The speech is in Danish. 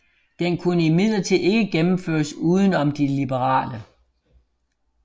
Den kunne imidlertid ikke gennemføres uden om de liberale